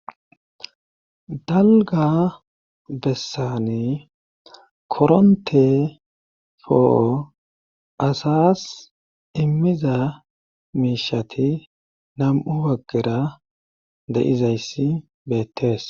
dalga bessani koronte fo7o asas immiza miishati nam7u waggera de7izayssi beettees